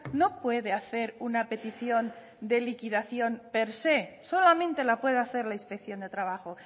no puede hacer una petición de liquidación per sé solamente la puede hacer la inspección de trabajo